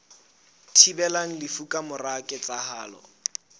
thibelang lefu ka mora ketsahalo